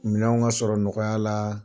Minɛnw ka sɔrɔ nɔgɔya la